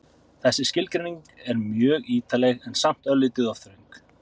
Þessi skilgreining er mjög ítarleg en samt örlítið of þröng.